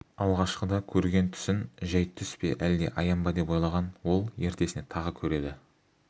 алғашқыда көрген түсін жәй түс пе әлде аян ба деп ойлаған ол ертесіне тағы көреді